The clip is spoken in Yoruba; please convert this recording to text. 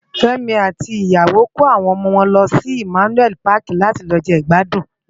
Femi àti iyàwó è kó áwòn òmò wòn lòsi Immanuel Pàki làti lò je igbàdún làná